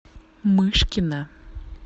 мышкина